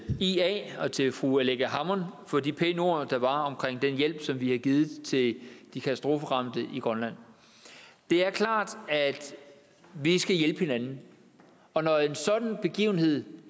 ia og til fru aleqa hammond for de pæne ord der var om den hjælp som vi har givet til de katastroferamte i grønland det er klart at vi skal hjælpe hinanden og når en sådan begivenhed